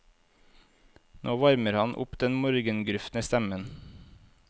Nå varmer han opp den morgengrufne stemmen.